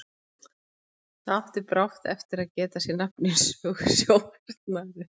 Það átti brátt eftir að geta sér nafn í sögu sjóhernaðarins.